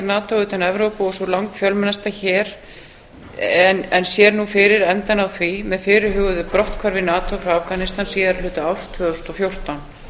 nato utan evrópu og sú langfjölmennasta en sér nú fyrir endann á því með fyrirhuguðu brotthvarfi nato frá afganistan síðari hluta árs tvö þúsund og fjórtán